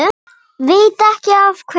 Veit ekki af hverju.